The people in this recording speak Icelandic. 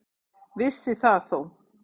Vissi það þó.